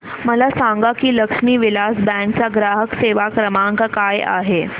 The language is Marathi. मला सांगा की लक्ष्मी विलास बँक चा ग्राहक सेवा क्रमांक काय आहे